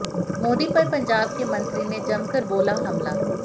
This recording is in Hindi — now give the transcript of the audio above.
मोदी पर पंजाब के मंत्री ने जमकर बोला हमला